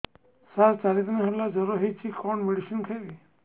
ସାର ଚାରି ଦିନ ହେଲା ଜ୍ଵର ହେଇଚି କଣ ମେଡିସିନ ଖାଇବି